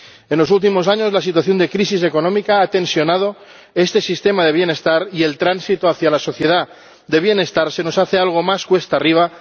En los últimos años la situación de crisis económica ha tensionado este sistema de bienestar y el tránsito hacia la sociedad del bienestar se nos hace algo más cuesta arriba